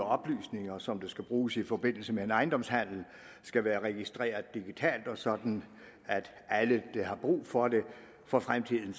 oplysninger som skal bruges i forbindelse med en ejendomshandel skal være registreret digitalt sådan at alle der har brug for det for fremtiden